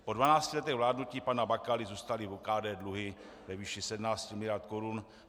Po 12 letech vládnutí pana Bakaly zůstaly v OKD dluhy ve výši 17 mld. korun.